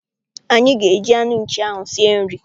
Anyị ga- eji anụ nchi ahụ sie nri.